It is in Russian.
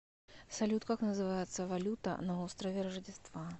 салют как называется валюта на острове рождества